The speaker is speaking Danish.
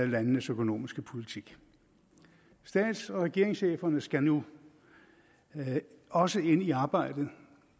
landenes økonomiske politik stats og regeringscheferne skal nu også ind i arbejdet